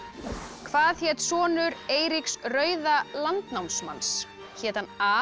hvað hét sonur Eiríks rauða landnámsmanns hét hann a